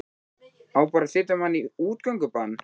Á bara að setja mann í útgöngubann?